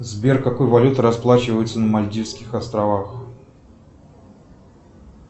сбер какой валютой расплачиваются на мальдивских островах